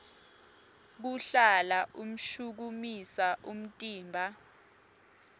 kuhlala ushukumisa umtimba